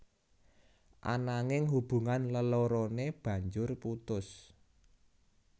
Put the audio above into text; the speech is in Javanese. Ananging hubungan leloroné banjur putus